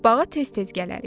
Bağa tez-tez gələrik.